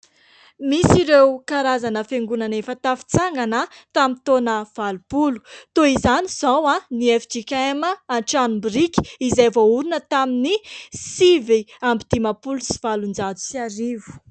Misy ireo karazana fiangonana efa tafatsangana tamin'ny taona valopolo. Toy izany izao ny FJKM Antranobiriky, izay voahorina tamin'ny sivy amby dimapolo sy valonjato sy arivo.